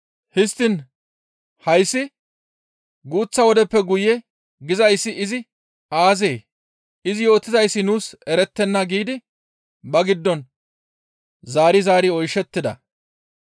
«Histtiin hayssi, ‹Guuththa wodeppe guye› gizayssi izi aazee? izi yootizayssi nuus erettenna» giidi ba giddon zaari zaari oyshettida.